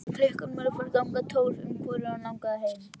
Klukkan var farin að ganga tólf og hvorugan langaði heim.